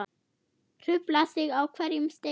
Hrufla sig á hverjum steini.